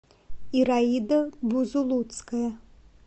ираида бузулуцкая